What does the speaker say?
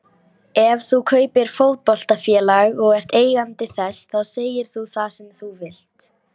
Ef þú kaupir fótboltafélag og ert eigandi þess þá segir þú það sem þú vilt.